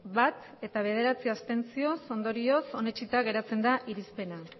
bat ez bederatzi abstentzio ondorioz onetsita geratzen da irizpena